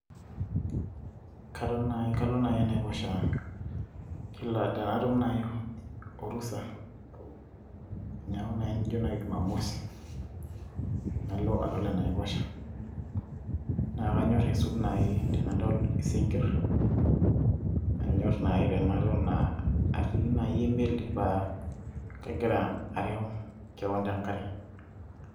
katon naai, kalo naai enaiposha. kila tenatum naaji orusa, teneeku naaji jumamosi, nalo adol enaiposha. naa kanyora aisul naaji tenadol isinkir, kanyor naaji tenaton aa atii naaji emeli. naton aing'or naaji te nkare.